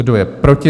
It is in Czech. Kdo je proti?